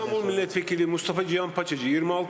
İstanbul millət vəkili Mustafa Cihan Paçacı, 26 səs.